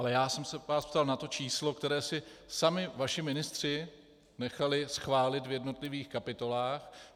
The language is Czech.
Ale já jsem se vás ptal na to číslo, které si sami vaši ministři nechali schválit v jednotlivých kapitolách.